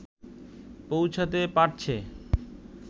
পৌঁছাতে পারছে